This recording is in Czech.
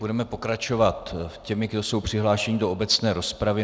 Budeme pokračovat těmi, kdo jsou přihlášeni do obecné rozpravy.